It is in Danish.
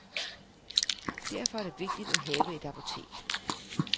Derfor er det vigtigt at have et apotek.